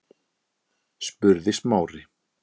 spurði Smári.